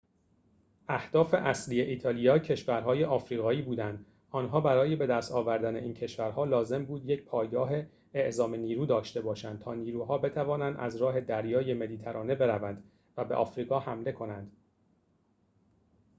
اهداف اصلی ایتالیا کشورهای آفریقایی بودند آنها برای بدست آوردن این کشورها لازم بود یک پایگاه اعزام نیرو داشته باشند تا نیروها بتوانند از راه دریای مدیترانه بروند و به آفریقا حمله کنند